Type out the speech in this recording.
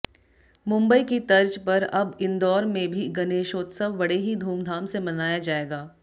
मुंबई की तर्ज पर अब इन्दौर में भी गणेशोत्सव बड़े ही धूमधाम से मनाया जाएगा